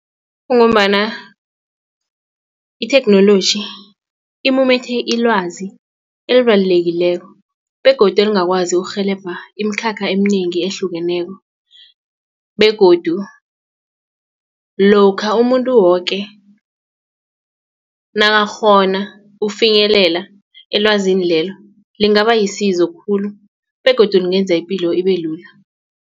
Kungombana itheknoloji imumethe ilwazi elibalulekileko begodu elingakwazi urhelebha imikhakha eminengi ehlukeneko begodu lokha umuntu woke nakakghona ukufinyelela elwazini lelo lingaba lisizo khulu begodu lingenza ipilo ibelula.